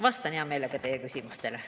Vastan hea meelega teie küsimustele.